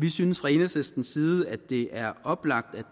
vi synes fra enhedslistens side at det er oplagt at